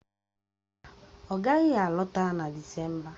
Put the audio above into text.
Mba, ọ gaghị alọta na Disemba